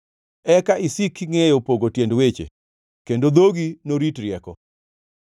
eka isik kingʼeyo pogo tiend weche kendo dhogi norit rieko.